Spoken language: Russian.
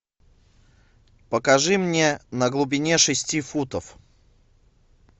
покажи мне на глубине шести футов